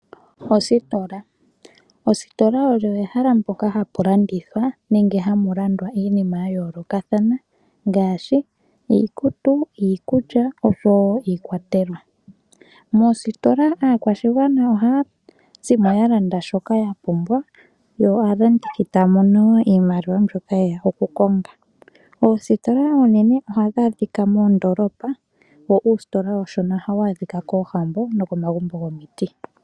Ositola ositola olyo ehala mpoka hapu landithwa nenge hapu landwa iinima ya yoolokathana ngaashi iikutu, iikulya oshowo iikwatelwa. Moositola aakwashigwana ohaya zimo ya Landa shoka ya pumbwa yo aalandithi taa mono wo iimaliwa mbyoka yeya oku konga oositola oonene ohadhi adhika moondolopa, wo uusitola uushona ohawu adhika koohambo noko magumbo gomiti.